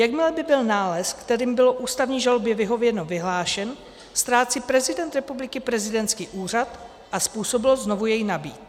Jakmile by byl nález, kterým bylo ústavní žalobě vyhověno, vyhlášen, ztrácí prezident republiky prezidentský úřad a způsobilost znovu jej nabýt.